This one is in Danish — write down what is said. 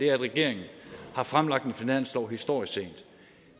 er at regeringen har fremlagt en finanslov historisk sent